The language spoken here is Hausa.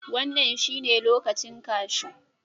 Wannan shine lokacin kashu